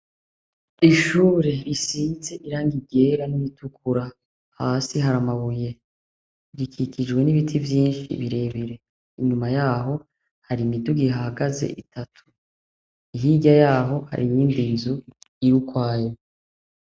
Ishure risize irangi ryera n’iritukura, hasi har’amabuye, rikikijwe n’ibiti vyinshi birebire, inyuma yaho har’imiduga ihahagaze itatu, hirya yaho hari yindi nzu irukwayo.